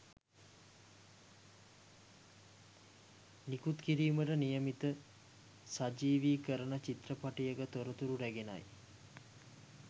නිකුත් කිරීමට නියමිත සජීවිකරණ චිත්‍රපටයක තොරතුරු රැගෙනයි